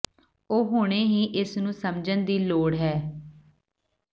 ਉਹ ਹੁਣੇ ਹੀ ਇਸ ਨੂੰ ਸਮਝਣ ਦੀ ਲੋੜ ਹੈ